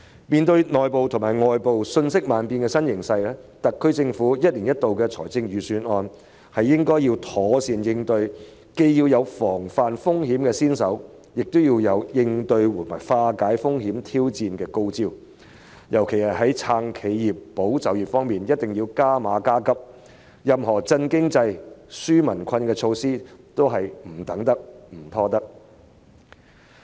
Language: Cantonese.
面對內部和外部瞬息萬變的新形勢，特區政府一年一度的預算案應要妥善作出應對，既要防範風險，亦要有應對及化解風險和挑戰的高招，特別在"撐企業、保就業"方面必須加碼加急，任何振興經濟、紓解民困的措施都是不能等待及拖延的。